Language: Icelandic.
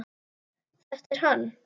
Þetta er hann.